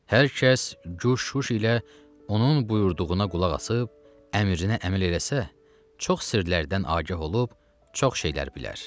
Hər kəs güş-şüiş ilə onun buyurduğuna qulaq asıb, əmrinə əməl eləsə, çox sirlərdən agah olub, çox şeylər bilər.